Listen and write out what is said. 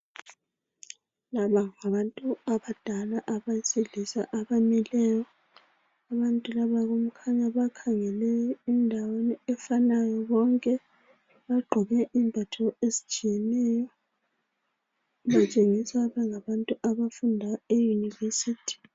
Laba ngabantu abadala abesilisa abamileyo, abantu labakukhanya bakhangele endaweni efanayo bonke, bagqoke imbatho ezitshiyeneyo batshengisa bengabantu abafunda eyunivesithi.